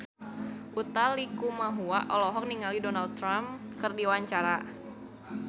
Utha Likumahua olohok ningali Donald Trump keur diwawancara